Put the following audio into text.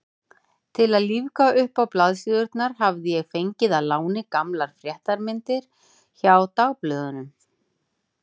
Til að lífga uppá blaðsíðurnar hafði ég fengið að láni gamlar fréttamyndir hjá dagblöðunum.